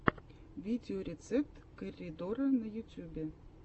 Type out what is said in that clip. видеорецепт корридора на ютюбе